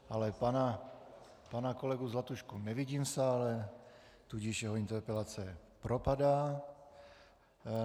Ale pana kolegu Zlatušku nevidím v sále, tudíž jeho interpelace propadá.